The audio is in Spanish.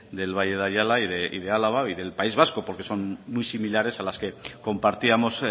del valle de ayala y de álava y del país vasco porque son muy similares a las que compartíamos